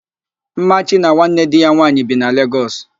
Mmachi na nwanne di ya nwaanyị bi na Legọs